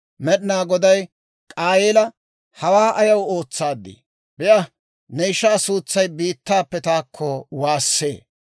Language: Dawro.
Med'inaa Goday K'aayeela, «Hawaa ayaw ootsaad? Be'a; ne ishaa suutsay biittaappe taakko waassee.